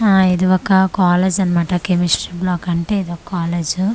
ఆ ఇది ఒక కాలేజ్ అన్మాట కెమిస్ట్రీ బ్లాక్ అంటే ఇదో కాలేజు .